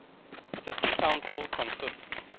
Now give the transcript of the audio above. city council consists